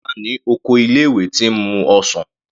Wọ́n ka Sultan ní oko ilé ìwé tí ń mu ọsàn.